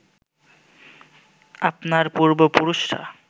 আপনার পূর্ব পুরুষরা